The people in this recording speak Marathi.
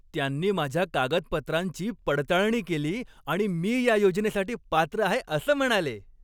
त्यांनी माझ्या कागदपत्रांची पडताळणी केली आणि मी या योजनेसाठी पात्र आहे असं म्हणाले.